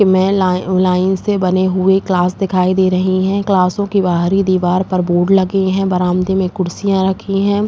में लाइ लाइन से बने हुए क्लास दिखाई दे रहे हैं। क्लासों की बाहरी दीवार पर बोर्ड लगे हैं। बरामदे में कुर्सिया रखी हैं।